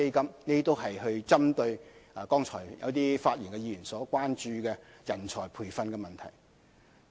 這些都是針對剛才發言議員所關注的有關人才培訓的問題。